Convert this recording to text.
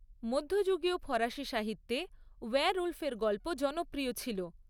মধ্যযুগীয় ফরাসি সাহিত্যে ওয়্যারউলফের গল্প জনপ্রিয় ছিল।